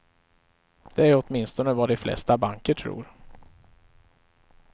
Det är åtminstone vad de flesta banker tror.